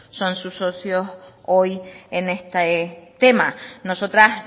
son sus socios hoy en este tema nosotras